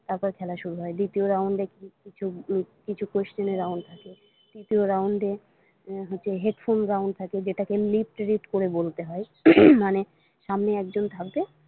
তারপর খেলা শুরু হয় দ্বিতীয় round এ কিছু question এর round হয় তৃতীয় round এ হচ্ছে headphone round থাকে যেটাকে lip read করে বলতে হয় হম মানে সামনে একজন থাকবে।